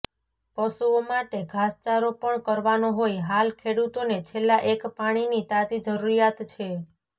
પશુઓ માટે ધાસચારો પણ કરવાનો હોય હાલ ખેડુતોને છેલ્લા એક પાણીની તાતી જરૂરિયાત છે